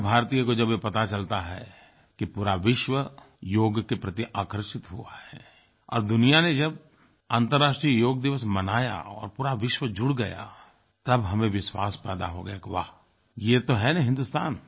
हर भारतीय को जब ये पता चलता है कि पूरा विश्व योग के प्रति आकर्षित हुआ है और दुनिया ने जब अन्तरराष्ट्रीय योग दिवस मनाया और पूरा विश्व जुड़ गया तब हमें विश्वास पैदा हो गया कि वाह ये तो है न हिन्दुस्तान